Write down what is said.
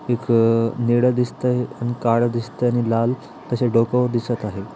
एक नीळ दिसतय आणि आणि काळ दिसतय आणि लाल त्याच्या डोक्यावर दिसत आहे.